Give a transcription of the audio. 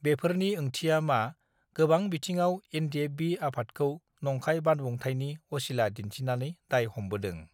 बेफोरनि ओंथिया मा गोबां बिथिङाव एनडिएफबि आफादखौ नंखाय बानबुंथाइनि असिला दिन्थिनानै दाय हमबोदों